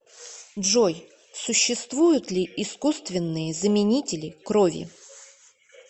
джой существуют ли искусственные заменители крови